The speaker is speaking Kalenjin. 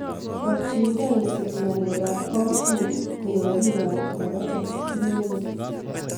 Borchingei isip ngalekab komonut koyob bikab kirakacha simebet.